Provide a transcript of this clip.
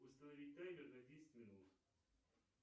установи таймер на десять минут